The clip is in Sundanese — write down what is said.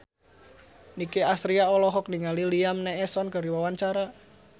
Nicky Astria olohok ningali Liam Neeson keur diwawancara